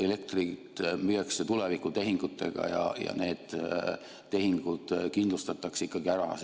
Elektrit müüakse tulevikutehingutega ja need tehingud kindlustatakse ikkagi ära.